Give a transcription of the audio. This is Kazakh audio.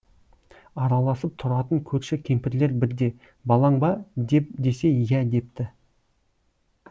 араласып тұратын көрші кемпірлер бірде балаң ба десе иә депті